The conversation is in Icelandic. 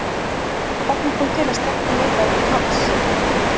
En hvernig kom til að Stjarnan leitaði til hans?